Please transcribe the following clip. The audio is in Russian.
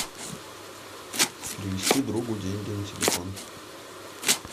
перевести другу деньги на телефон